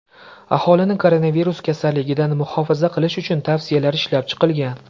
Aholini koronavirus kasalligidan muhofaza qilish uchun tavsiyalar ishlab chiqilgan.